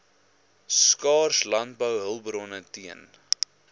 skaars landbouhulpbronne teen